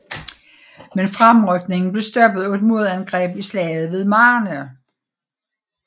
Men fremrykningen blev stoppet af et modangreb i Slaget ved Marne